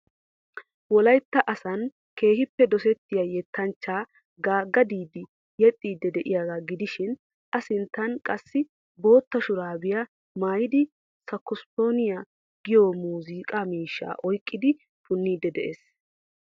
Wolaytta asaan keehiippe dosettiya yettanchchaa Gaga Diidi yexxiid diyaagaa gidishiin A sinttan qassi bootta shuraabiya maayidi sakisfooniya giyo muuzuuqqaaa miishshaa oyqqidi punniid de'ees.